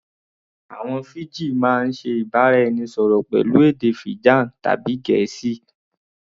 Àwọn Fiji máa ń ṣe ìbára-ẹnisọ̀rọ̀ pẹ̀lú èdè Fijan tàbí Gẹ̀ẹ́sì